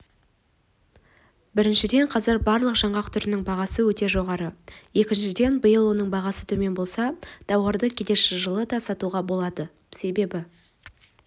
біріншіден қазір барлық жаңғақ түрінің бағасы өте жоғары екіншіден биыл оның бағасы төмен болса тауарды келер жылы да сатуға болады себебі